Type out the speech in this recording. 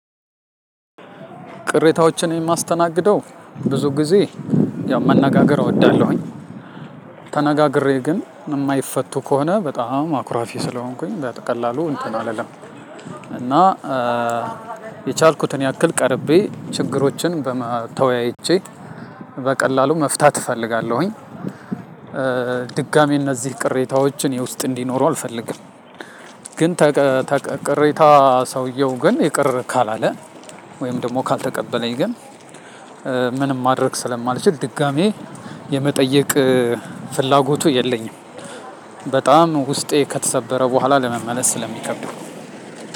ቅሬታዎችን የማስተናግደው ብዙ ጊዜ ያው መነጋገር እወዳለሁኝ። ተነጋግሬ ግን የማይፈቱ ከሆነ በጣም አኩራፊ ስለሆንኩኝ በቀላሉ እንትን አልልም እና የቻልኩትን ያክል ቀርቤ ችግሮችን ተወያይቼ በቀላሉ መፍታት እፈልጋለሁኝ። ድጋሚ እነዚህ ቅሬታዎችን የውስጥ እንዲኖሩ አልፈልግም ግን ተቀረቀረ ቅሬታ ሰውየው ግን ይቅር ካላለ ወይም ደግሞ ካልተቀበለኝ ግን ምንም ማድረግ ስለማልችል ድጋሜ የመጠየቅ ፍላጎቱ የለኝም። በጣም ውስጤ ከተሰበረ በኋላ ለመመለስ ስለሚከብድ